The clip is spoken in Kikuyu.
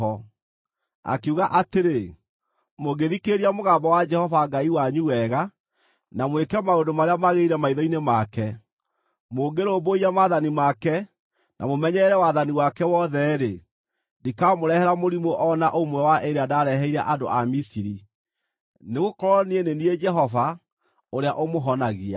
Akiuga atĩrĩ, “Mũngĩthikĩrĩria mũgambo wa Jehova Ngai wanyu wega, na mwĩke maũndũ marĩa magĩrĩire maitho-inĩ make, mũngĩrũmbũiya maathani make na mũmenyerere wathani wake wothe-rĩ, ndikamũrehera mũrimũ o na ũmwe wa ĩrĩa ndareheire andũ a Misiri, nĩgũkorwo niĩ nĩ niĩ Jehova, ũrĩa ũmũhonagia.”